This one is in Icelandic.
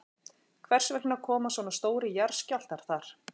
Hvers vegna koma svona stórir jarðskjálftar þar?